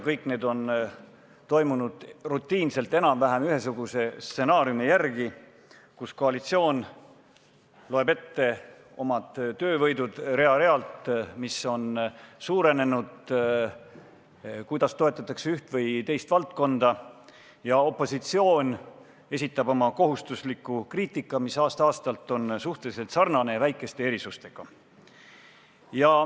Kõik need on toimunud rutiinselt enam-vähem ühesuguse stsenaariumi järgi: koalitsioon loeb ette oma töövõidud rida-realt, mis on suurenenud, kuidas toetatakse üht või teist valdkonda, ja opositsioon esitab oma kohustusliku kriitika, mis on aasta-aastalt suhteliselt sarnane ja väikeste erisustega.